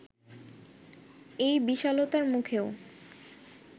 এই বিশালতার মুখেও